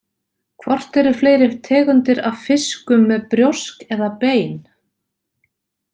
Hvort eru fleiri tegundir af fiskum með brjósk eða bein?